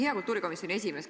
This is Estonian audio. Hea kultuurikomisjoni esimees!